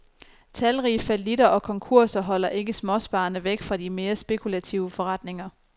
Talrige fallitter og konkurser holder ikke småsparerne væk fra de mere spekulative forretninger.